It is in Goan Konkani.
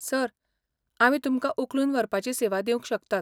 सर, आमी तुमकां उखलून व्हरपाची सेवा दिवंक शकतात.